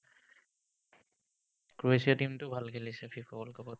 ক্ৰ'এছিয়াৰ team টো ভাল খেলিছে FIFA world cup ত